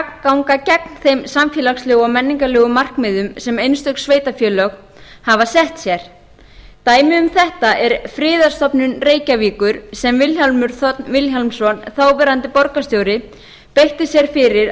ganga gegn þeim samfélagslegu og menningarlegu markmiðum sem einstök sveitarfélög hafa sett sér dæmi um þetta er friðarstofnun reykjavíkur sem vilhjálmur þ vilhjálmsson þáverandi borgarstjóri beitti sér fyrir